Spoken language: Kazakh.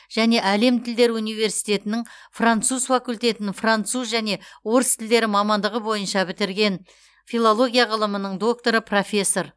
және әлем тілдері университетінің француз факультетін француз және орыс тілдері мамандығы бойынша бітірген филология ғылымының докторы профессор